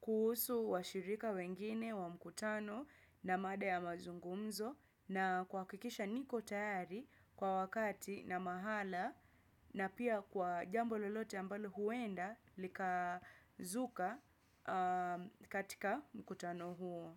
Kuhusu washirika wengine wa mkutano na mada ya mazungumzo na kuhakikisha niko tayari kwa wakati na mahala. Na pia kwa jambo lolote ambalo huenda likazuka katika mkutano huo.